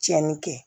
Tiɲɛni kɛ